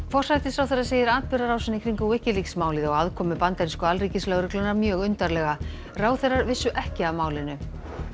forsætisráðherra segir atburðarásina í kringum Wikileaks málið og aðkomu bandarísku alríkislögreglunnar mjög undarlega ráðherrar vissu ekki af málinu